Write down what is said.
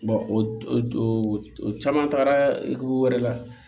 o caman tagara wɛrɛ la